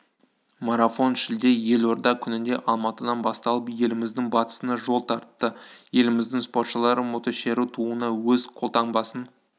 марафон шілде елорда күнінде алматыдан басталып еліміздің батысына жол тартты еліміздің спортшылары мотошеру туына өз қолтаңбасын